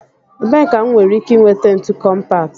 Ebee ka m nwere ike nweta ntu kọmpat?